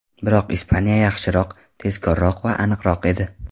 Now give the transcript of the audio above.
Biroq Ispaniya yaxshiroq, tezkorroq va aniqroq edi.